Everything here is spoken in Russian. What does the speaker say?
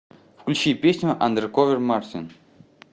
включи песню андэрковер мартин